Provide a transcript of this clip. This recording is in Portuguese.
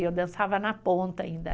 Eu dançava na ponta ainda.